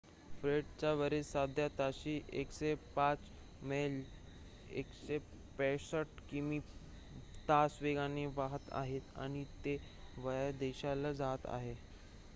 फ्रेडचे वारे सध्या ताशी 105 मैल 165 किमी/तास वेगाने वाहात आहेत आणि ते वायव्य दिशेला जात आहे